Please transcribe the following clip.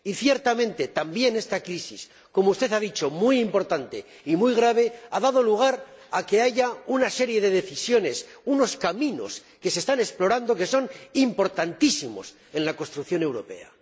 Y, ciertamente, también esta crisis, como usted ha dicho, muy importante y muy grave, ha dado lugar a que haya una serie de decisiones, unos caminos que se están explorando y que son importantísimos en la construcción europea.